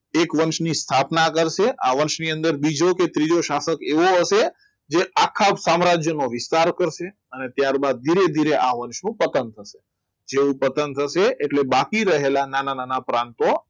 એક વંશની સ્થાપના કરશે આ વંશ ની અંદર બીજો કે ત્રીજો સ્થાપક એવો હશે કે આ આખા સમ્રાજ અને વિસ્તાર કરશે અને ત્યારબાદ એક ધીરે ધીરે આ વર્ષ ખતમ કરશે તેઓ ખતમ થશે બાકી રહેલા નાના નાના પ્રાંતો